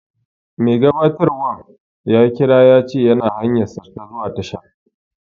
Mai gabatarwan ya kira ya ce yana hanyarsa ta zuwa tashar